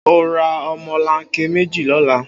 O óò ra o̩mo̩lanke méjì ló̩la!